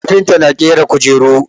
Kafinta na ƙera kujeru.